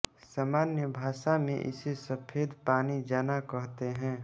सामान्य भाषा में इसे सफेद पानी जाना कहते हैं